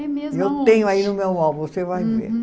É mesmo, aonde? Eu tenho aí no meu álbum, você vai ver. Uhum.